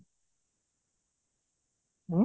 ହୁଁ?